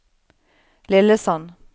Lillesand